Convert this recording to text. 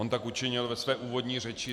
On tak učinil ve své úvodní řeči.